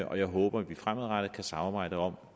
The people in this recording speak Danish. og jeg håber vi fremadrettet kan samarbejde om